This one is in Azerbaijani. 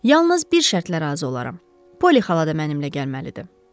"Yalnız bir şərtlə razı olaram: Polly xala da mənimlə gəlməlidir."